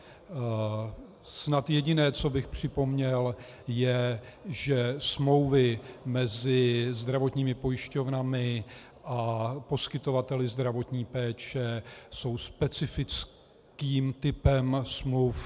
Snad jediné, co bych připomněl, je, že smlouvy mezi zdravotními pojišťovnami a poskytovateli zdravotní péče jsou specifickým typem smluv.